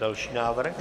Další návrh.